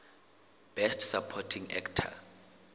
best supporting actor